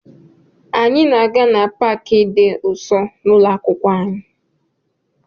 Anyị na-aga na Pááki dị nso na ụlọ akwụkwọ m